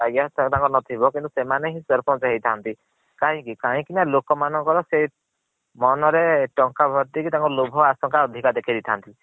ସେମନUdk ର ନଥିବ କିନ୍ତୁ ସେମାନେ ହିଏଂ ସରପଞ୍ଚ ହେଇ ଥାନ୍ତି। କାହିଁକି କାହିଁକି ନା ଲୋକ ମାନଙ୍କ ର ମନ ରେ ସେଇ ଟଙ୍କା ଭର୍ତୀ ହେଇ ତାଙ୍କୁ ଲୋଭ ଆସଂକ ଅଧିକ ଦେଖେଇ ଦେଇ ଥାନ୍ତି।